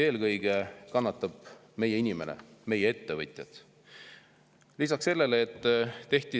Eelkõige kannatab meie inimene, kannatavad meie ettevõtted.